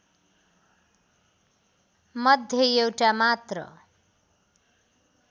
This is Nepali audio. मध्ये एउटा मात्र